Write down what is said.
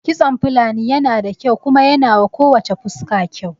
Kitson Fulani yana da kyau kuma yanawa ko wacce fuska kyau